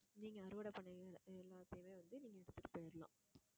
நீங்க அறுவடை பண்ணீங்க. எல்லாத்தையுமே வந்து, நீங்க எடுத்துட்டு போயிடலாம்